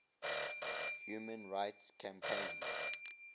human rights campaign